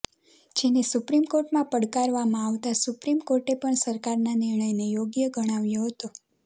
જેને સુપ્રીમ કોર્ટમાં પડકારવામાં આવતા સુપ્રીમ કોર્ટે પણ સરકારના નિર્ણયને યોગ્ય ગણાવ્યો હતો